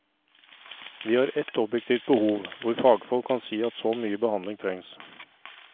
Vi har ett objektivt behov, hvor fagfolk kan si at så mye behandling trengs.